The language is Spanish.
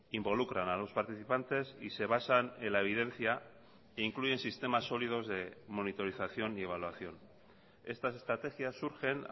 involucran a los participantes y se basan en la evidencia e incluyen sistemas sólidos de monitorización y evaluación estas estrategias surgen